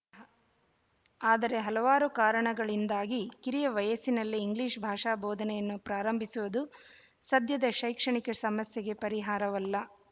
ಆದರೆ ಹಲವಾರು ಕಾರಣಗಳಿಂದಾಗಿ ಕಿರಿಯ ವಯಸ್ಸಿನಲ್ಲಿಯೇ ಇಂಗ್ಲೀಷ್ ಭಾಷಾ ಬೋಧನೆಯನ್ನು ಪ್ರಾರಂಭಿಸುವುದು ಸದ್ಯದ ಶೈಕ್ಷಣಿಕ ಸಮಸ್ಯೆಗೆ ಪರಿಹಾರವಲ್ಲ